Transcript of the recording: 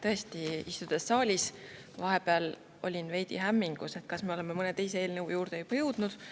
Tõesti, istudes saalis, olin vahepeal veidi hämmingus, kas me oleme juba mõne teise eelnõu juurde jõudnud.